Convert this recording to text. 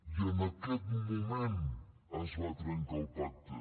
i en aquest moment es va trencar el pacte